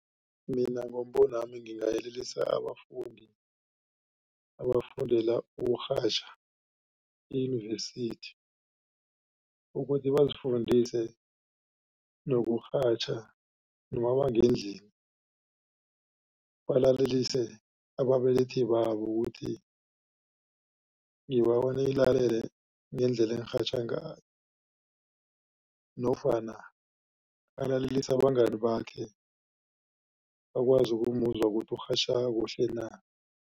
Mina ngombonami ngingayelelisa abafundi abafundela ukurhatjha eyunivesithi ukuthi bazifundise nokurhatjha noma bangendlini balalelisise ababelethi babo ukuthi ngibawa nilalele ngendlela engirhatjha ngayo nofana balalelisise abangani bakhe bakwazi ukumuzwa ukuthi urhatjha kuhle na.